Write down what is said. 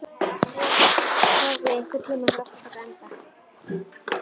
Sofía, einhvern tímann þarf allt að taka enda.